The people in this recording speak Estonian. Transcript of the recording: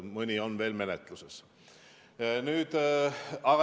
Mõni on veel menetluses.